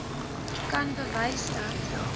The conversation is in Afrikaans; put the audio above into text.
kan bewys dat